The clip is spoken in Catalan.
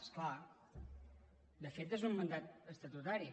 és clar de fet és un mandat estatutari